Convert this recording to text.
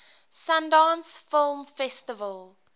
sundance film festival